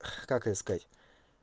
как это сказать